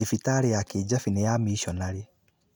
Thibitarĩ ya Kijabe nĩ ya amiconarĩ.